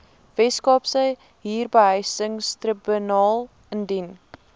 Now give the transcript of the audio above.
weskaapse huurbehuisingstribunaal indien